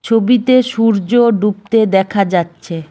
ছবিতে সূর্য ডুবতে দেখা যাচ্ছে।